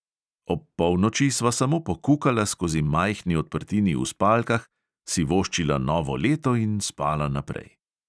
Ob polnoči sva samo pokukala skozi majhni odprtini v spalkah, si voščila novo leto in spala naprej.